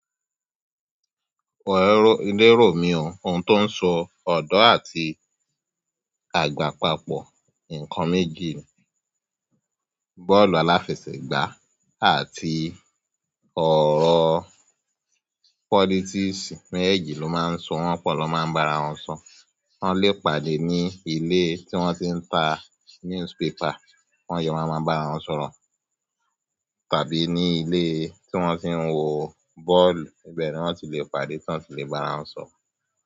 Lérò mi o, ohun tí ó ń so ọ̀dọ́ àti àgbà papọ̀. NǸkan méjì ni, bọ́ọ̀lù aláfẹsẹ̀gbá àti ọ̀rọ̀ politics. Méjéèjì ló máa ń sọ, wọ́n pọ̀ lọ máa ń bara wọn sọ̀rọ̀. Wọ́n lè pàdé ní ilé tí wọ́n tí ń ta newspaper wọ́n a wá máa bára wọn sọ̀rọ̀. Tàbí ní ilé tí wọ́n ti ń wo bọ́ọ̀lù, ibẹ̀ ni wọ́n ti lè pàdé tán, ti lè bára wọn sọ̀rọ̀.